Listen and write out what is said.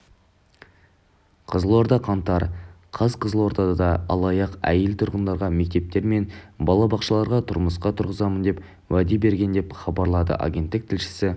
қызылорда қаңтар қаз қызылордада алаяқ әйел тұрғындарға мектептер мен балабақшаларға жұмысқа тұрғызамын деп уәде берген деп хабарлады агенттік тілшісі